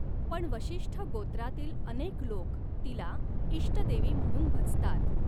पण वशिष्ठ गोत्रातील अनेक लोक तिला इष्टदेवी म्हणून भजतात.